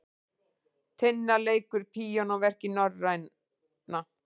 Tinna leikur píanóverk í Norræna